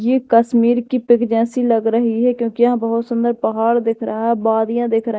ये कश्मीर की पिक जैसी लग रही है क्योंकि यहां बहोत सुंदर पहाड़ दिख रहा बादिया दिख र--